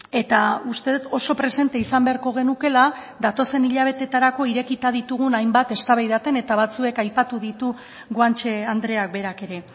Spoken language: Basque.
eta uste dut oso presente izan beharko genukeela datozen hilabeterako irekita ditugun hainbat eztabaidatzen eta batzuk aipatu ditu guanche andreak berak ere